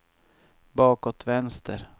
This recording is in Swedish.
bakåt vänster